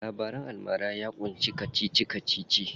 Labaran almara ya ƙunshi kacici kacici.